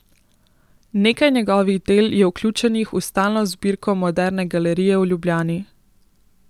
Nekaj njegovih del je vključenih v stalno zbirko Moderne galerije v Ljubljani.